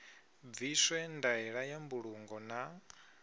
bviswe ndaela ya mbulungo na